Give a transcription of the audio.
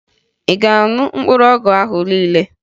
Ị ga-aṅụ mkpụrụ ọgwụ ahụ niile!